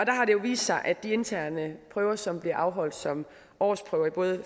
jo vist sig at de interne prøver som bliver afholdt som årsprøver i både